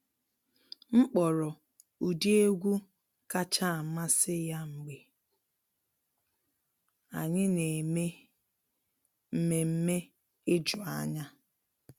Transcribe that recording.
M kpọrọ ụdị egwu kacha amasị ya mgbe anyị na eme mmemme ijuanya.